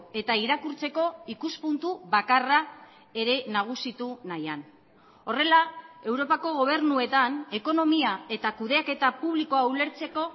eta irakurtzeko ikuspuntu bakarra ere nagusitu nahian horrela europako gobernuetan ekonomia eta kudeaketa publikoa ulertzeko